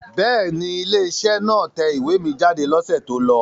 Bẹ́ẹ̀ ni, ilé-iṣẹ́ náà tẹ ìwé mi jáde lọ́sẹ̀ tó lọ.